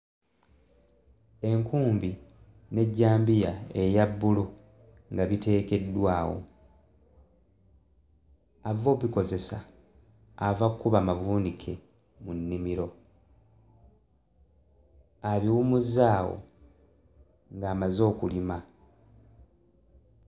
Enkumbi n'ejjambiya eya bbulu nga biteekeddwa awo ava obbikozesa ava kkuba mavuunike mu nnimiro abiwummuzza awo ng'amaze okulima.